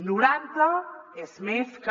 noranta és més que